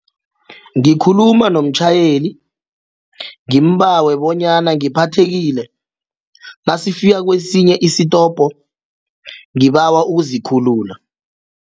Ngikhuluma nomtjhayeli ngimbawe bonyana ngiphathathekile nasifika kwesinye isitopo ngibawa ukuzikhulula.